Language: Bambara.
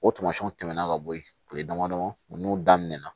O tamasiyɛnw tɛmɛna ka bɔ yen kile damadɔ ninnu n'u daminɛ na